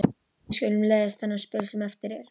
Við skulum leiðast þennan spöl sem eftir er.